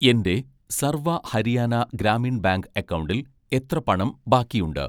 എൻ്റെ സർവ ഹരിയാന ഗ്രാമീൺ ബാങ്ക് അക്കൗണ്ടിൽ എത്ര പണം ബാക്കിയുണ്ട്